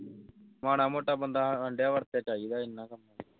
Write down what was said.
ਮਾੜਾ ਮੋਟਾ ਬੰਦਾ ਵਾਸਤੇ ਚਾਹੀਦਾ ਇੰਨਾਂ ਕਿ